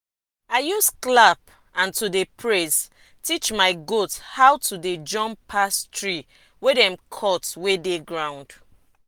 i use clap and to dey praise teach my goat how to dey jump pass tree wey dem cut wey dey ground.